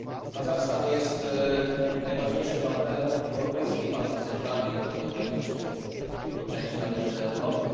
Kazachstan jest najważniejszym partnerem Unii Europejskiej w Azji Centralnej, choć geograficznie jego część należy do Europy.